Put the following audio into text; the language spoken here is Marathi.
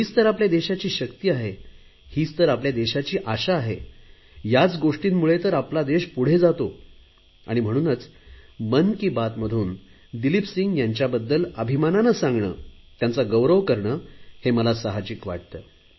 हीच तर आपल्या देशाची शक्ती आहे हीच तर आपल्या देशाची आशा आहे याच तर गोष्टींमुळे आपला देश पुढे जातो आणि म्हणूनच मन की बातमधून दिलीप सिंह यांच्याबद्दल अभिमानाने सांगणे त्यांचा गौरव करणे हे मला साहजिकच वाटते